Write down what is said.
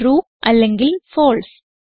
true അല്ലെങ്കിൽ false